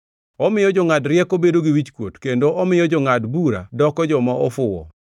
Omiyo jongʼad rieko bedo gi wichkuot kendo omiyo jongʼad bura doko joma ofuwo.